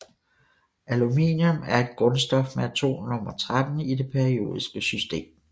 Aluminium er et grundstof med atomnummer 13 i det periodiske system